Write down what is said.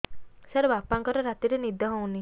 ସାର ବାପାଙ୍କର ରାତିରେ ନିଦ ହଉନି